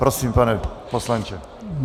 Prosím, pane poslanče.